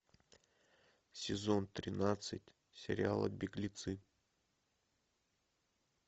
сезон тринадцать сериала беглецы